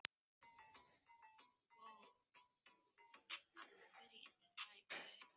Deginum síðar voru árin komin yfir hana aftur.